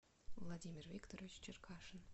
владимир викторович черкашин